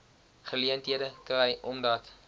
geleenthede kry omdat